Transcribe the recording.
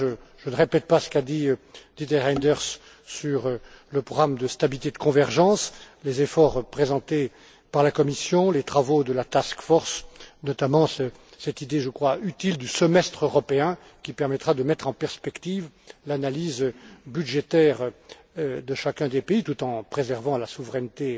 Je ne répéterai pas ce qu'a dit Didier Reynders sur le programme de stabilité et de convergence, les efforts fournis par la Commission, les travaux de la task force, notamment cette idée, que je trouve utile, de semestre européen, qui permettra de mettre en perspective l'analyse budgétaire de chacun des pays, tout en préservant leur souveraineté